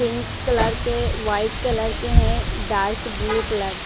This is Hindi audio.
पिंक कलर के व्हाइट कलर के हैं डार्क ब्लू कलर --